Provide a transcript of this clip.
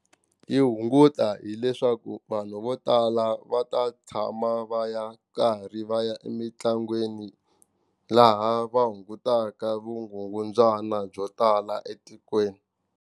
Yi hunguta hileswaku vanhu vo tala va ta tshama va ya karhi va ya emitlangwini laha va hungutaka vugungundzwana byo tala etikweni.